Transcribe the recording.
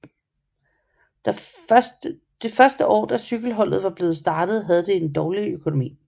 De første år da cykelholdet var blevet startet havde det en dårlig økonomi